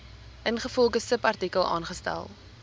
ingevolge subartikel aangestel